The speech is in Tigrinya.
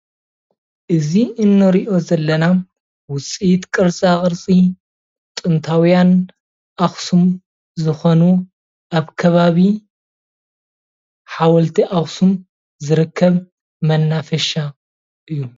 እዚ እንርኦ ዘለና ውፅኢት ቅርፃ ቅርፂ ጥንታዊያን ኣክሱም ዝኮኑ ኣብ ከባቢ ሓወልቲ ኣክሱም ዝርከብ መናፈሻ እዩ፡፡